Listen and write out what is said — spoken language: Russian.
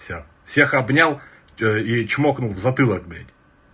всё всех обнял что что и чмокнул в затылок